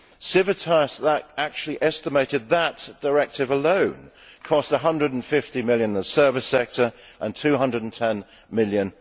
Civitas actually estimated that that directive alone cost GBP 150 million in the service sector and 210 million